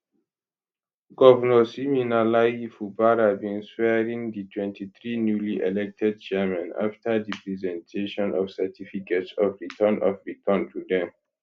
govnor siminalayi fubara bin swearin di 23 newly elected chairmen afta di presentation of certificates of return of return to dem